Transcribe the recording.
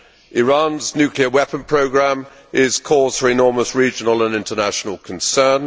Iran's nuclear weapon programme is cause for enormous regional and international concern.